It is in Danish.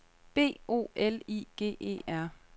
B O L I G E R